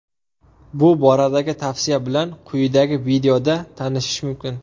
Bu boradagi tavsiya bilan quyidagi videoda tanishish mumkin.